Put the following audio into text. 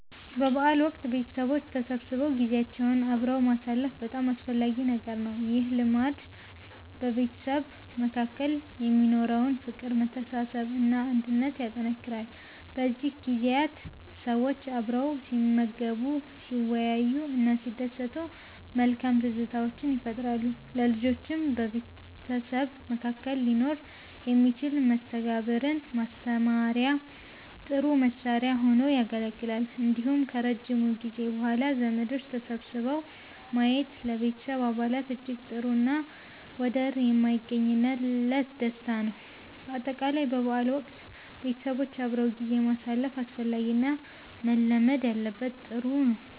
በበዓል ወቅት ቤተሰቦች ተሰብስበው ጊዜያቸውን አብረው ማሳለፍ በጣም አስፈላጊ ነገር ነው። ይህ ልማድ በቤተሰብ መካከል የሚኖረውን ፍቅር፥ መተሳሰብ እና አንድነት ያጠነክራል። በእነዚህ ጊዜያት ሰዎች አብረው ሲመገቡ፥ ሲወያዩ እና ሲደሰቱ መልካም ትዝታዎችን ይፈጥራሉ። ለልጆችም በቤተሰብ መካከል ሊኖር የሚችልን መስተጋብርን ማስተማሪያ ጥሩ መሳሪያ ሁኖ ያገለግላል። እንዲሁም ከረጅም ጊዜ በኋላ ዘመዶች ተሰብስበው ማየት ለቤተሰብ አባላት እጅግ ጥሩ እና ወደር የማይገኝለት ደስታ ነው። በአጠቃላይ በበዓል ወቅት ቤተሰቦች አብረው ጊዜ ማሳለፍ አስፈላጊ እና መለመድ ያለበት ጥሩ ነው